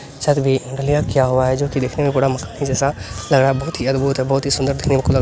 छत भी ढलइयां किया हुआ है जो की देखने में बड़ा मस्त ही जैसा लग रहा है देखने में बहुत ही अद्भुत देखने में बहुत ही खुला --